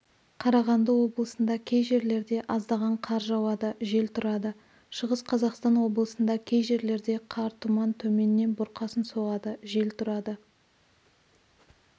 қарағанды облысында кей жерлерде аздаған қар жауады жел тұрады шығыс қазақстан облысында кей жерлерде қар тұман төменнен бұрқасын соғады жел тұрады